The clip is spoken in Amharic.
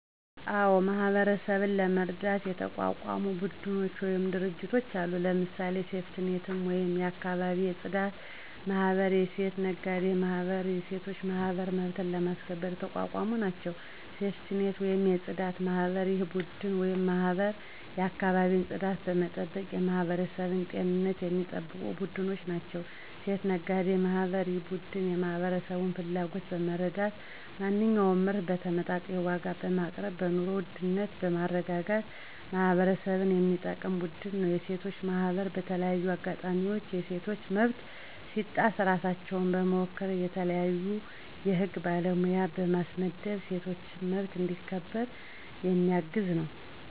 አዎ ! ማህበረሠብን ለመርዳት የተቋቋሙ ቡድኖች ወይም ድርጅቶች አሉ። ለምሳሌ፦ ሴፍቲኔት ወይም የአካባቢ የፅዳት ማህበር፣ የሴት ነጋዴ ማህበር፣ የሴቶች ማህበር መብትን ለማስከበር የተቋቋሙ ናቸው። -ሴፍቲኔት(የፅዳት) ማህበር፦ ይህ ቡድን ወይም ማህበር የአካባቢን ፅዳት በመጠበቅ የማህበረሠብን ጤንነት የሚጠብቁ ቡድኖች ናቸው። -የሴት ነጋዴዎች ማህበር፦ ይህ ቡድን የማህበረሠብን ፍላጎት በመረዳት ማንኛውንም ምርት በተመጣጣኝ ዋጋ በማቅረብ በኑሮ ውድነትን በማረጋጋት ማህበረሠብን የሚጠቅም ቡድን ነው። -የሴቶች ማህበር፦ በተለያዩ አጋጣሚዎች የሴቶች መብት ሲጣስ ራሳቸውን በመወከል የተለያዩ የህግ ባለሙያ በማስመደብ የሴቶች መብት እንዲ ከበር የሚያግዝ ነው።